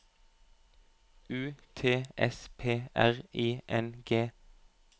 U T S P R I N G